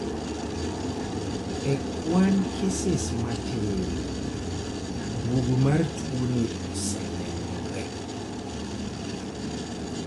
e kwan keses matin duogo mar tuoni osenenore